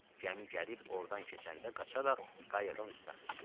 Gəmi gəlib ordan keçəndə qaçaraq qayığın üstünə sıçrayır.